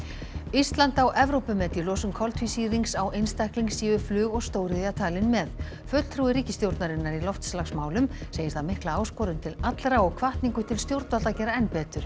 ísland á Evrópumet í losun koltvísýrings á einstakling séu flug og stóriðja talin með fulltrúi ríkisstjórnarinnar í loftslagsmálum segir það mikla áskorun til allra og hvatningu til stjórnvalda að gera enn betur